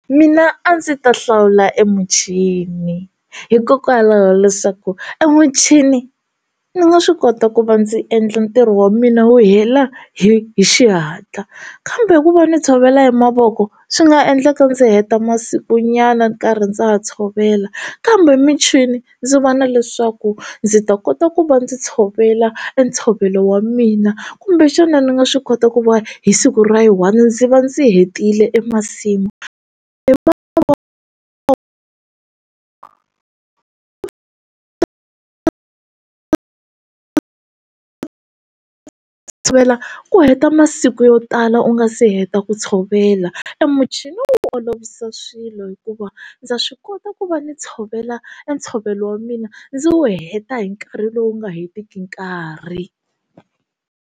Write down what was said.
Mina a ndzi ta hlawula emuchini hikokwalaho leswaku emuchini ni nga swi kota ku va ndzi endla ntirho wa mina wu hela hi hi xihatla kambe ku va ni tshovela hi mavoko swi nga endleka ndzi heta masiku nyana nkarhi ndza ha tshovela kambe michini ndzi va na leswaku ndzi ta kota ku va ndzi tshovela entshovelo wa mina kumbexana ni nga swi kota ku va hi siku ra hi yi one ndzi va ndzi hetile e masimu hi mavoko ku tshovela ku heta ma siku yo tala u nga se heta ku tshovela emuchini wu olovisa swilo hikuva ndza swi kota ku va ni tshovela ntshovelo wa mina ndzi wu heta hi nkarhi lowu nga hetiki nkarhi.